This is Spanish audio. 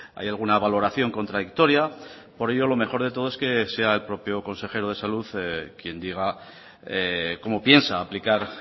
hay alguna valoración contradictoria por ello lo mejor de todo es que sea el propio consejero de salud quien diga cómo piensa aplicar